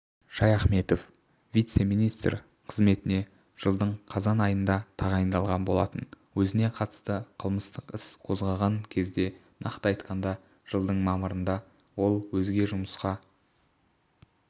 шаяхметов вице-министр қызметіне жылдың қазан айында тағайындалған болатын өзіне қатысты қылмыстық іс қозғалған кезде нақты айтқанда жылдың мамырында ол өзге жұмысқа